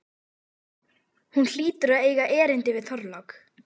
Hún hlýtur að eiga erindi við Þorlák.